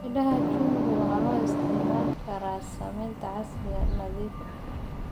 Midhaha chungwa waxaa loo isticmaali karaa sameynta casiir nadiif ah.